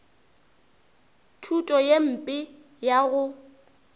thuto ye mpe ya go